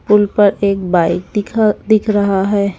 पुल पर एक बाइक दिख दिख रहा है।